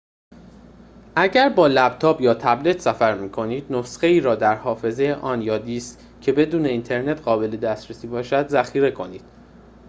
اگر با لپتاپ یا تبلت سفر می‌کنید، نسخه‌ای را در حافظه آن یا دیسک که بدون اینترنت قابل دسترسی باشد ذخیر کنید